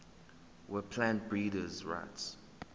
weplant breeders rights